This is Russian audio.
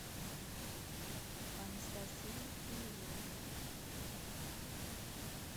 анастасия ивлеева